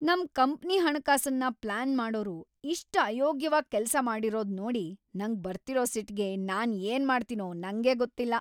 ನಮ್‌ ಕಂಪ್ನಿ ಹಣಕಾಸನ್ನ ಪ್ಲಾನ್‌ ಮಾಡೋರು ಇಷ್ಟ್ ಅಯೋಗ್ಯವಾಗ್‌ ಕೆಲ್ಸ ಮಾಡಿರೋದ್‌ ನೋಡಿ ನಂಗ್ ಬರ್ತಿರೋ ಸಿಟ್ಗೆ ನಾನ್‌ ಏನ್‌ ಮಾಡ್ತೀನೋ ನಂಗೇ ಗೊತ್ತಿಲ್ಲ!